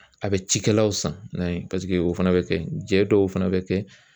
A bɛ jikɛlaw fana san n'a ye paseke o fana bi kɛ jɛ dɔw fana bi kɛ